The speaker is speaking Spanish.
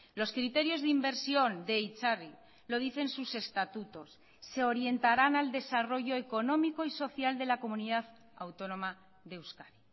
los criterios de inversión de itzarri lo dicen sus estatutos se orientarán al desarrollo económico y social de la comunidad autónoma de euskadi